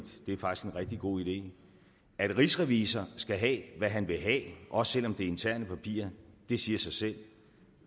det er faktisk en rigtig god idé at rigsrevisor skal have hvad han vil have også selv om det er interne papirer siger sig selv